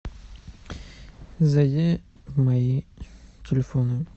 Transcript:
зайди в мои телефоны